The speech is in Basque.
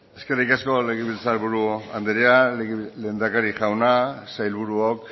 eskerrik asko legebiltzar buru andrea lehendakari jauna sailburuok